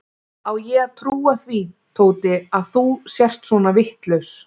Á ég að trúa því, Tóti, að þú sért svona vitlaus?